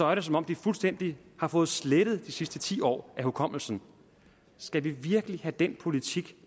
er det som om de fuldstændig har fået slettet de sidste ti år af hukommelsen skal vi virkelig have den politik